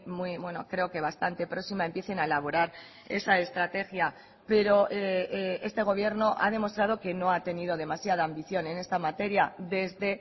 muy creo que bastante próxima empiecen a elaborar esa estrategia pero este gobierno ha demostrado que no ha tenido demasiada ambición en esta materia desde